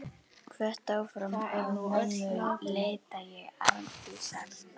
Hvött áfram af mömmu leita ég Arndísar.